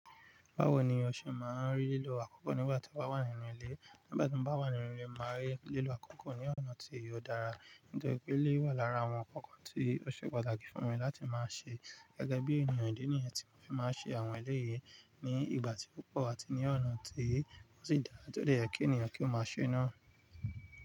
Báwo ni ọ ṣe máa ń rí lílo àkókò nígbà tí o bá wà nínú ilé? Nígbà tí mo bá wà nínú ilé, màá rí lílo àkókò ní ọ̀nà tí o dára. Nítorí pé ẹleyi wà lára àwọn inkan kan tí ó ṣe pàtàkì fún mi láti máa ṣe. Gẹ́gẹ́ bí ènìyàn idi níyi tí mo fi máa ń ṣe àwọn eléyìí ní ìgbà tí púpọ̀ àti ní ọ̀nà tí o sì dára, tó dẹ̀ yẹ kí ènìyàn kí ó máa ṣe na.